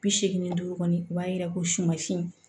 Bi seegin ni duuru kɔni o b'a yira ko suma si